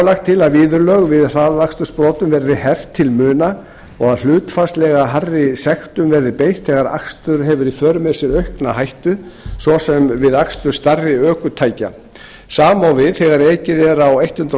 lagt til að viðurlög við hraðakstursbrotum verði hert til muna og að hlutfallslega hærri sektum verði beitt þegar akstur hefur í för með sér aukna hættu svo sem við akstur stærri ökutækja sama á við þegar ekið er á hundrað